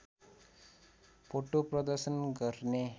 भोटो प्रदर्शन गर्ने